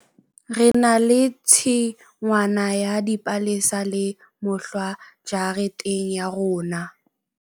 Re na le tshingwana ya dipalesa le mohlwa jareteng ya rona.